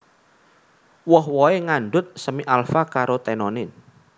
Woh wohé ngandhut semi alfa carotenone